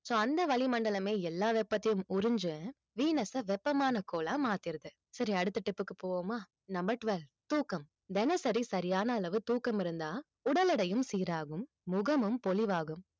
so அந்த வளிமண்டலமே, எல்லா வெப்பத்தையும் உறிஞ்சு venus அ வெப்பமான கோளா மாத்திடுது சரி அடுத்த tip க்கு போவோமா number twelve தூக்கம் தினசரி சரியான அளவு தூக்கம் இருந்தா உடல் எடையும் சீராகும் முகமும் பொலிவாகும்